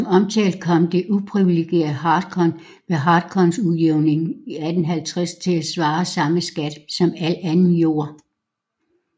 Som omtalt kom det uprivilegerede hartkorn ved hartkornsudjævningen 1850 til at svare samme skat som al anden jord